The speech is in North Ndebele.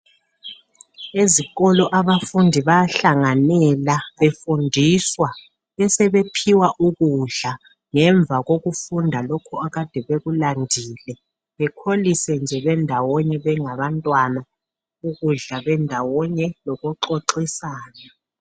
Ezikolo abafundi bayahlanganyela befundiswa besebe phiwa ukudla ngemva kokufunda lokhu